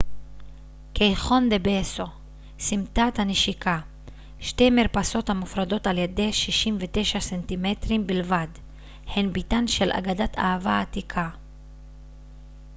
קייחון דה בסו סמטת הנשיקה. שתי מרפסות המופרדות על ידי 69 סנטימטרים בלבד הן ביתן של אגדת אהבה עתיקה